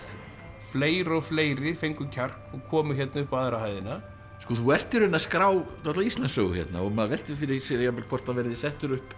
fleiri og fleiri fengu kjark og komu upp á aðra hæðina þú ert í rauninni að skrá dálitla Íslandssögu hérna og maður veltir fyrir sér jafnvel hvort það verði settur upp